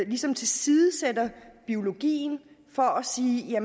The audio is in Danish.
ligesom tilsidesætter biologien for at sige at